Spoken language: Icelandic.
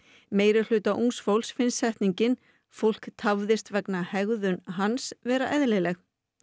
meirihluta ungs fólks finnst setningin fólk tafðist vegna hegðun hans vera eðlileg